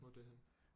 Hvor er det henne